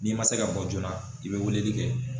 N'i ma se ka bɔ joona i be weleli kɛ